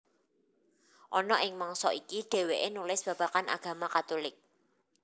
Ana ing mangsa iki dhèwèké nulis babagan agama Katulik